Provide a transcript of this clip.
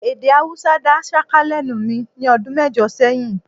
Èdè Haúsá dá ṣáká lẹ́nu mi ní ọdún mẹ́jọ sẹ́yìn